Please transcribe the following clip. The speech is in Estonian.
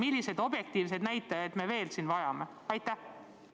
Milliseid objektiivseid põhjusi me veel vajame?!